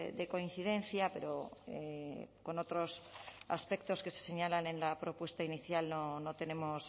de coincidencia pero con otros aspectos que se señalan en la propuesta inicial no tenemos